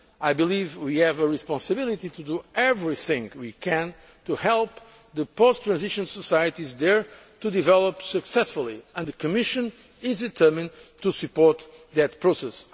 Mediterranean. I believe we have a responsibility to do everything we can to help the post transition societies there to develop successfully, and the Commission is determined to support